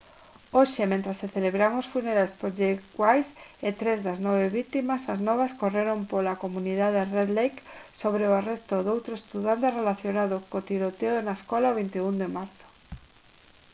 hoxe mentres se celebraban os funerais por jeff weise e tres das nove vítimas as novas correron pola comunidade red lake sobre o arresto doutro estudante relacionado cos tiroteo na escola o 21 de marzo